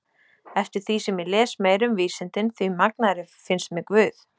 Eftir því sem ég les meira um vísindin því magnaðri finnst mér guð.